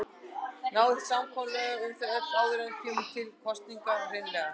Náið þið samkomulagi um þau öll áður en kemur til kosninga hreinlega?